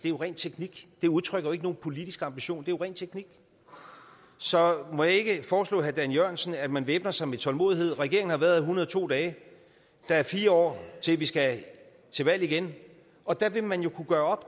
jo ren teknik det udtrykker ikke nogen politisk ambition det er ren teknik så må jeg ikke foreslå herre dan jørgensen at man væbner sig med tålmodighed regeringen har været her en hundrede og to dage der er fire år til vi skal til valg igen og der vil man jo kunne gøre